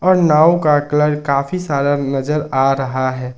नव का कलर काफी सारा नजर आ रहा है।